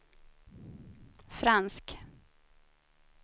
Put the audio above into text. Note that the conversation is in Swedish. fransk